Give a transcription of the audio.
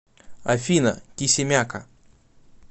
афина кисимяка